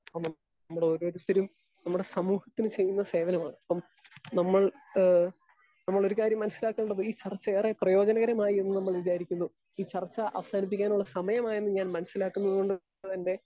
Speaker 2 നമ്മളോരോരുത്തരും നമ്മുടെ സമൂഹത്തിന് ചെയ്യുന്ന സേവനമാണ്. അപ്പൊ നമ്മൾ ഏഹ് നമ്മളൊരുകാര്യം മനസ്സിലാക്കണ്ടത് ഈ ചർച്ചയേറെ പ്രയോജനകരമായി എന്നു നമ്മൾ വിചാരിക്കുന്നു. ഈ ചർച്ച അവസാനിപ്പിക്കാനുള്ള സമയമായെന്ന് ഞാൻ മനസ്സിലാക്കുന്നതുകൊണ്ട് തന്നെ